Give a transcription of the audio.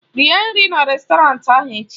Rie nri na rèstọrantị ahụ echi!